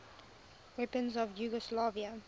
weapons of yugoslavia